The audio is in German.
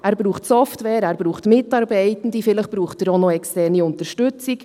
Er braucht Software, er braucht Mitarbeitende, vielleicht braucht er auch noch externe Unterstützung.